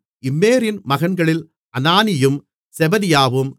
இம்மேரின் மகன்களில் அனானியும் செபதியாவும்